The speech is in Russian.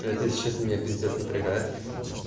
это если честно меня пиздец напрягает